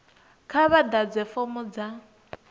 kha vha ḓadze fomo dza